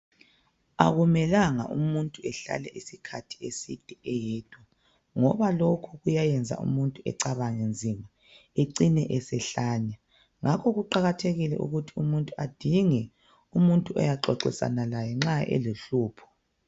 Akumelanga umuntu ehlale isikhathi eside eyedwa. Ngoba lokhu kuyayenza umuntu ecabange nzima ecine esehlanya. Ngakho kuqakathekile ukuthi umuntu adinge umuntu oyaxoxisana laye nxa elohlupho.